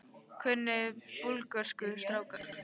Kunniði Búlgörsku strákar?